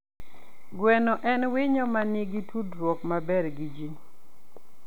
Gweno en winyo ma nigi tudruok maber gi ji.